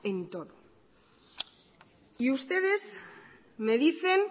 en todo y ustedes me dicen